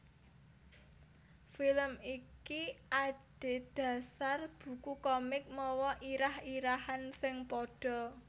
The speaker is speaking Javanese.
Film iki adhedhasar buku komik mawa irah irahan sing padha